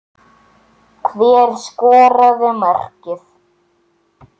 Hver skoraði markið?